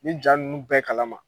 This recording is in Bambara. Nin jaa ninnu bɛɛ kalama.